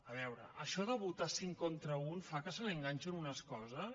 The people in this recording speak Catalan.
a veure això de votar cinc contra u fa que se li enganxin unes coses